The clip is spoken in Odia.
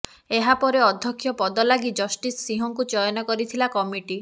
ଏହାପରେ ଅଧ୍ୟକ୍ଷ ପଦ ଲାଗି ଜଷ୍ଟିସ ସିଂହଙ୍କୁ ଚୟନ କରିଥିଲା କମିଟି